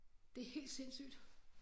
Det helt sindssygt